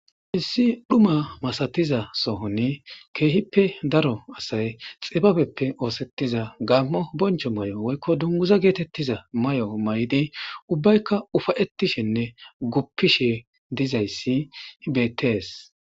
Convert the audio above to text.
Issi dhuma masatiza sohoni keehippe daro asay xibabeppe oosettiza gaammo boncho mayo woykko dunguza geetettiza mayo mayidi ubbaykka ufayettishenne guppishe dizayssi bettees.